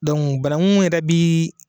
Donku barakun yɛrɛ bi